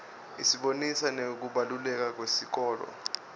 isibonisa nekubaluleka kwesikolo